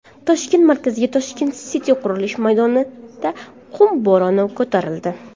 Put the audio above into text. Toshkent markazidagi Tashkent City qurilish maydonida qum bo‘roni ko‘tarildi.